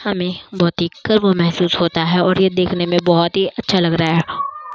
हमे बहुत ही गर्व महसूस होता है और ये देखने मे बहुत अच्छा लग रहा --